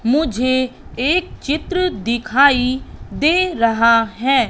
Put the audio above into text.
मुझे एक चित्र दिखाई दे रहा है।